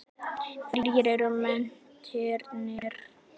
Hverjir eru mennirnir?